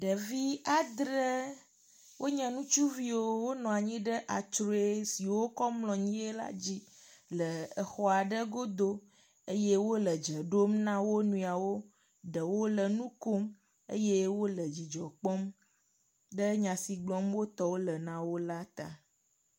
Ɖevi adre wonye ŋutsuviwo wonɔ anyi ɖe atrue si wokɔ mlɔnyie la dzi le exɔ ɖe godo eye wole dze ɖom na wo nɔewo. Ɖewo le nu kom eye wole dzidzɔ kpɔm ɖe nya si gblɔm wotɔwo le na wo la ta.